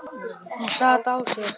Hún sat á sér.